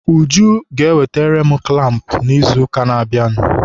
Uju ga-ewetere m kụlampụ n'izuụka na-abịanụ.